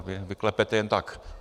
A vy klepete jen tak.